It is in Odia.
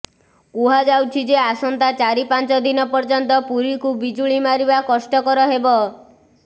କୁହାଯାଉଛିଯେ ଆସନ୍ତା ଚାରି ପାଞ୍ଚ ଦିନ ପର୍ଯ୍ୟନ୍ତ ପୁରୀକୁ ବିଜୁଳି ମିଳିବା କଷ୍ଟକର ହେବ